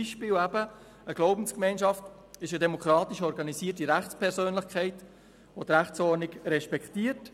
Einige Beispiele: Eine Glaubensgemeinschaft ist eine demokratisch organisierte Rechtspersönlichkeit, welche die Rechtsordnung respektiert.